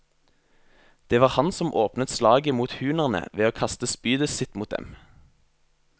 Det var han som åpnet slaget mot hunerne ved å kaste spydet sitt mot dem.